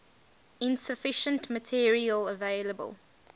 insufficient material available